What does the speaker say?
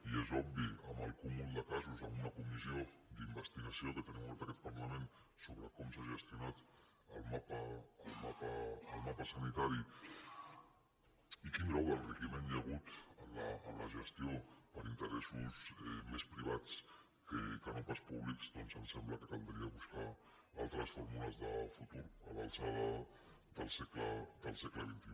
i és obvi amb el cúmul de casos en una comissió d’investigació que tenim oberta a aquest parlament sobre com s’ha gestionat el mapa sanitari i quin grau d’enriquiment hi ha hagut en la gestió per interessos més privats que no pas públics doncs ens sembla que caldria buscar altres fórmules de futur a l’alçada del segle xxi